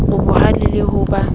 o bohale le ho ba